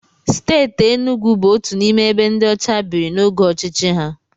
Steeti Enugwu bụ otu n'ime ebe ndị ọcha biri n'oge ọchịchị ha.